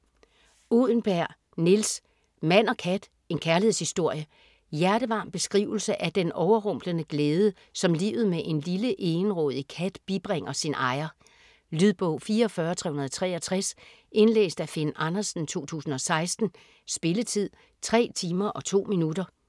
Uddenberg, Nils: Mand og kat: en kærlighedshistorie Hjertevarm beskrivelse af den overrumplende glæde, som livet med en lille egenrådig kat bibringer sin ejer. Lydbog 44363 Indlæst af Finn Andersen, 2016. Spilletid: 3 timer, 2 minutter.